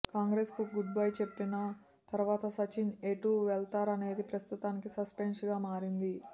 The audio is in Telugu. కాంగ్రెస్ కు గుడ్ బై చెప్పన తర్వాత సచిన్ ఎటు వెళతారనేది ప్రస్తుతానికి సస్పెన్స్ గా మారింది